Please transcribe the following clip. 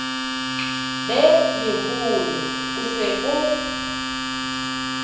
be leholo o se o